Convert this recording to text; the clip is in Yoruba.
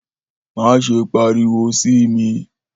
Maṣe pariwo si mi!